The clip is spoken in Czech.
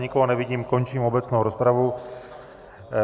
Nikoho nevidím, končím obecnou rozpravu.